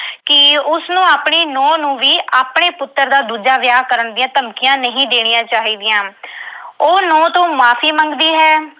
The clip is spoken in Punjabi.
ਕਿ ਉਸਨੂੰ ਆਪਣੀ ਨੂੰਹ ਨੂੰ ਵੀ ਆਪਣੇ ਪੁੱਤਰ ਦਾ ਦੂਜਾ ਵਿਆਹ ਕਰਨ ਦੀਆਂ ਧਮਕੀਆਂ ਨਹੀਂ ਦੇਣੀਆਂ ਚਾਹੀਦੀਆਂ। ਉਹ ਨੂੰਹ ਤੋਂ ਮੁਆਫ਼ੀ ਮੰਗਦੀ ਹੈ।